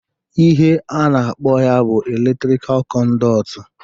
Ihe a na-akpọ ya bụ eletrikal kọnduit